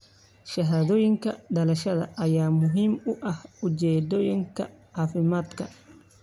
Shahaadooyinka dhalashada ayaa muhiim u ah ujeedooyinka caafimaadka.